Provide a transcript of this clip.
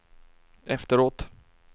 efteråt